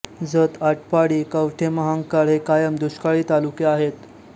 जत आटपाडी कवठे महांकाळ हे कायम दुष्काळी तालुके आहेत